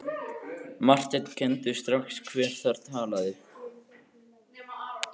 Marteinn kenndi strax hver þar talaði.